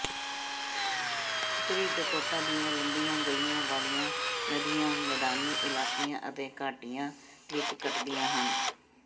ਉੱਤਰੀ ਡਕੋਟਾ ਦੀਆਂ ਲੰਬੀਆਂ ਗਲੀਆਂ ਵਾਲੀਆਂ ਨਦੀਆਂ ਮੈਦਾਨੀ ਇਲਾਕਿਆਂ ਅਤੇ ਘਾਟੀਆਂ ਵਿਚ ਕੱਟਦੀਆਂ ਹਨ